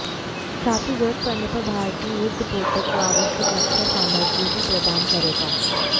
साथ ही जरूरत पड़ने पर भारतीय युद्धपोतों को आवश्यक रक्षा सामग्री भी प्रदान करेगा